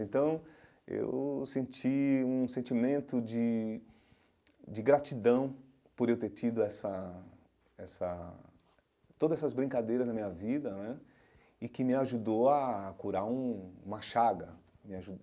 Então eu senti um sentimento de de gratidão por eu ter tido essa essa toda essas brincadeiras na minha vida né e que me ajudou a curar um uma chaga me